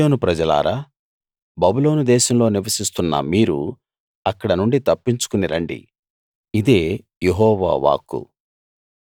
సీయోను ప్రజలారా బబులోను దేశంలో నివసిస్తున్న మీరు అక్కడ నుండి తప్పించుకుని రండి ఇదే యెహోవా వాక్కు